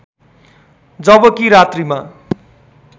जबकि रात्रिमा